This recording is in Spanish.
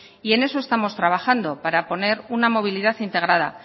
y en eso estamos trabajando para poner una movilidad integrada